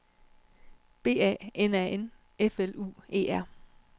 B A N A N F L U E R